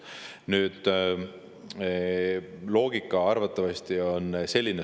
Nüüd, loogika arvatavasti on selline.